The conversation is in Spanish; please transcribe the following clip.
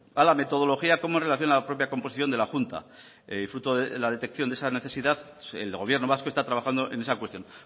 a la metodología como en relación a la propia composición de la junta y fruto de la detección de esa necesidad el gobierno vasco está trabajando en esa cuestión